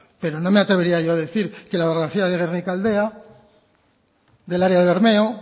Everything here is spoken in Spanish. pero no me atrevería yo a decir que la orografía de gernikaldea del área de bermeo